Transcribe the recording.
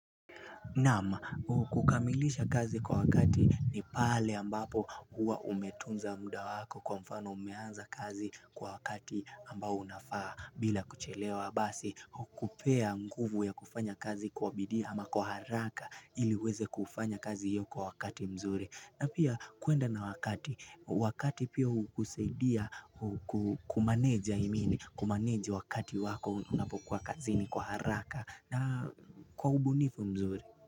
Naam kukamilisha kazi kwa wakati ni pale ambapo huwa umetunza muda wako kwa mfano umeanza kazi kwa wakati ambao unafaa bila kuchelewa. Basi, hukupea nguvu ya kufanya kazi kwa bidii ama kwa haraka ili uweze kufanya kazi hio kwa wakati mzuri. Na pia, kuenda na wakati, wakati pia hukusaidia kumanage I mean. Kumanage wakati wako unapokuwa kazini kwa haraka na kwa ubunifu mzuri.